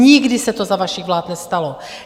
Nikdy se to za vašich vlád nestalo.